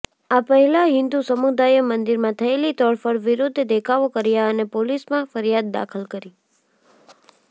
આ પહેલાં હિન્દુ સમુદાયે મંદિરમાં થયેલી તોડફોડ વિરૂદ્ધ દેખાવો કર્યા અને પોલીસમાં ફરિયાદ દાખલ કરી